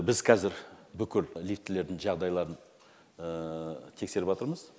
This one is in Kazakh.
біз қазір бүкіл лифтілердің жағдайларын тексерыватырмыз